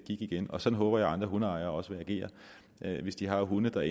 igen og sådan håber jeg at andre hundeejere også vil agere hvis de har hunde der